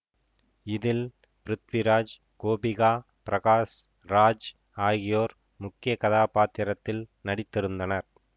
இதில் பிருத்விராஜ் கோபிகா பிரகாஷ் ராஜ் ஆகியோர் முக்கிய கதாப்பாத்திரத்தில் நடித்திருந்தனர்